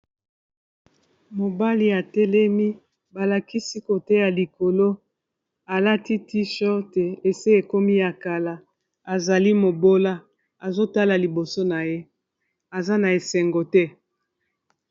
mobali atelemi balakisi kote ya likolo alati ti shor te ese ekomi ya kala azali mobola azotala liboso na ye aza na esengo te